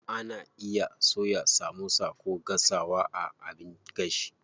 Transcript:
Ana iya soya samosa ko gasawa a abin gashi.